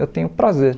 Eu tenho prazer.